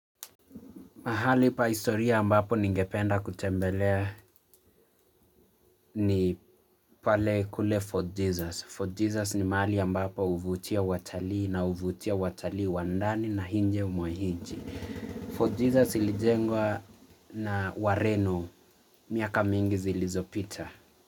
Mahali pa historia ambapo ningependa kutembelea ni pale kule Fort Jesus. Fort Jesus ni mahali ambapo huvutia watalii na huvutia watalii wa ndani na nje mwa nch. Fort Jesus ilijengwa na wareno miaka mingi zilizopita.